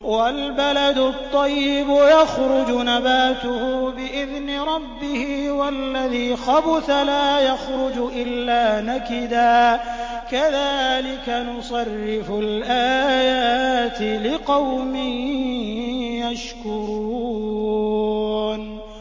وَالْبَلَدُ الطَّيِّبُ يَخْرُجُ نَبَاتُهُ بِإِذْنِ رَبِّهِ ۖ وَالَّذِي خَبُثَ لَا يَخْرُجُ إِلَّا نَكِدًا ۚ كَذَٰلِكَ نُصَرِّفُ الْآيَاتِ لِقَوْمٍ يَشْكُرُونَ